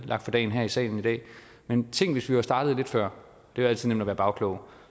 lagt for dagen her i salen i dag men tænk hvis vi var startet lidt før det er altid nemt at være bagklog